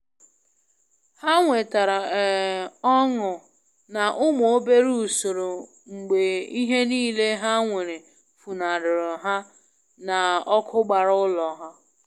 Ha nwetara um ọṅụ na umu obere usoro mgbe ihe niile ha nwere funahara ha na ọkụ gbara ulọ ha.